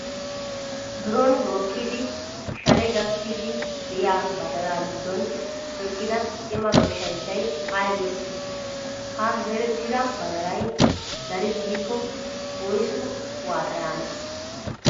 Biron mokkidi shale gakkiiddi diyaa badalaa giddon eqqida cima goshshanchchayi ayi bessii? Ha zerettida badalayi daris giikko woyisu waaxa yaanee?